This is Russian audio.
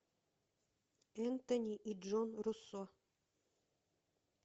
энтони и джон руссо